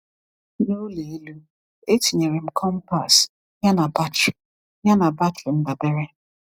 N’ụlọ elu, etinyere m compass, yana batrị yana batrị ndabere.